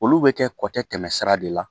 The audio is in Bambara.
Olu bɛ kɛ kɔ tɛ tɛmɛ sira de la